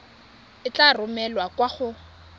e tla romelwa kwa go